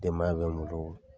Denbaya bɛ n bolo